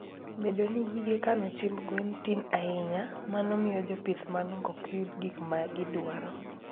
Bedo ni gige kano chiemb gwen tin ahinya, mano miyo jopith manok ok yud gik ma gidwaro.